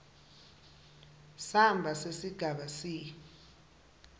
samba sesigaba c